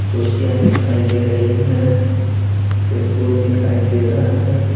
कुर्सियाँ दिखाई दे रही हैं टेबुल दिखाई दे रहा है।